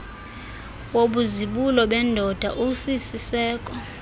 wobuzibulo bendoda usisiseko